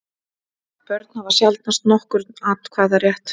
Börn hafa sjaldnast nokkurn atkvæðarétt.